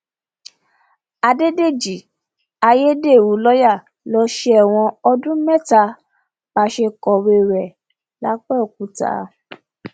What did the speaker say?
àdédéjì ayédèrú lọọyà ń lọ sẹwọn ọdún mẹta bá a ṣe kọwé rẹ lápbẹọkúta